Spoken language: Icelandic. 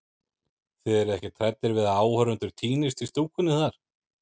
Þið eruð ekkert hræddir við að áhorfendur týnist í stúkunni þar?